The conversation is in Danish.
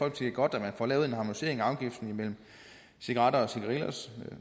at det er godt at man får lavet en harmonisering af afgifterne imellem cigaretter og cigarillos